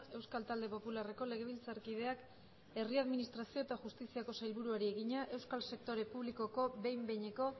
euskal talde popularreko legebiltzarkideak herri administrazio eta justiziako sailburuari egina euskal sektore publikoko behin behineko